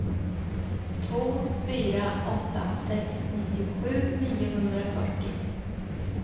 två fyra åtta sex nittiosju niohundrafyrtio